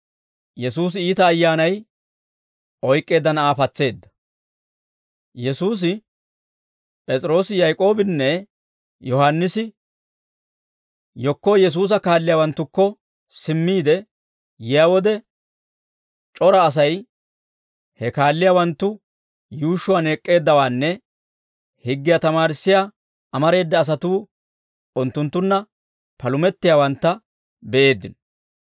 Yesuusi, P'es'iroosi, Yaak'oobinne Yohaannisi yekko Yesuusa kaalliyaawanttukko simmiide yiyaa wode, c'ora Asay he kaalliyaawanttu yuushshuwaan ek'k'eeddawaanne higgiyaa tamaarissiyaa amareeda asatuu unttunttunna palumettiyaawantta be'eeddino.